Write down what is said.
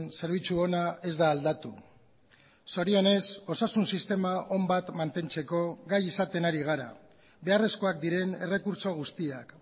zerbitzu ona ez da aldatu zorionez osasun sistema on bat mantentzeko gai izaten ari gara beharrezkoak diren errekurtso guztiak